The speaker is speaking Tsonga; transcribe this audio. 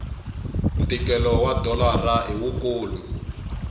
ntikelo wa dolara i wukulu